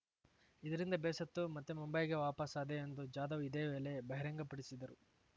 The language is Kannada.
ಇದರಿಂದ ಬೇಸತ್ತು ಮತ್ತೆ ಮುಂಬೈಗೆ ವಾಪಸಾದೆ ಎಂದು ಜಾಧವ್‌ ಇದೇ ವೇಳೆ ಬಹಿರಂಗಪಡಿಸಿದರು